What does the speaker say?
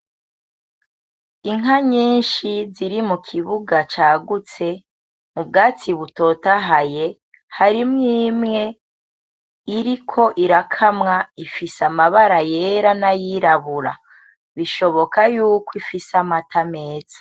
Inka nyinshi ziri mu kibuga cagutse mu bwatsi butotahaye , harimwo imwe iriko irakamwa ifise amabara yera n'ayirabura. Bishoboka yuko ifise amata meza.